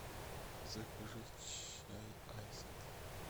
закажи чай айсент